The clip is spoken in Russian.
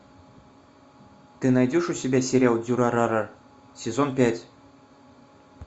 ты найдешь у себя сериал дюрарара сезон пять